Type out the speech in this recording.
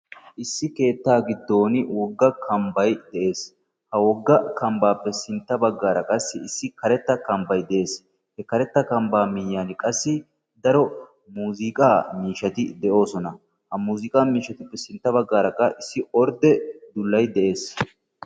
issi keettaa giddon wogga kambbay de'ees, ha wogga kambaappe sinta bagaara issi karetta kambbay de'ees. ha karetta kambaa miyiyani qassi daro muuzziiqaa miishshati de'oosona ha muziiqaa miishatuppe sintta bagaara issi porde dullay de'ees.